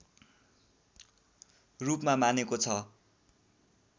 रूपमा मानेको छ